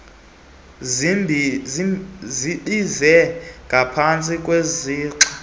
zibize ngapantsi kwesixa